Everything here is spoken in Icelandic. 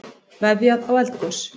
Veðjað á eldgos